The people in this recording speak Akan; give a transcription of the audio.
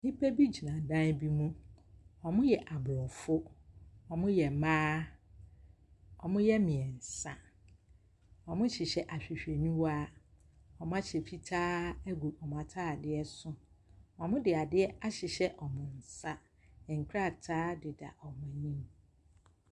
Nnipa bi gyina dan bi mu. Wɔyɛ Aborɔfo. Wɔhyɛ mmaa. Wɔyɛ mmeɛnsa. Wɔhyehyɛ ahwehwɛniwa. Wɔahyɛ fitaa agu wɔn atadeɛ so. Wɔde adeɛ ahyehyɛ wɔn nsa. Nkrataadeda wɔn anim.